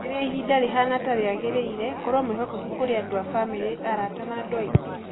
Rĩrĩa ihinda rĩhana ta rĩagĩrĩire, korũo mwĩhokeku kũrĩ andũ a bamirĩ, arata na andũ angĩ.